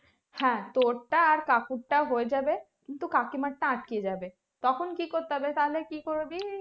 হ্যাঁ তোরটা আর কাকুরটা হয়ে যাবে কিন্তু কাকিমারটা আটকে যাবে তখন কি করতে হবে তাহলে কি করবি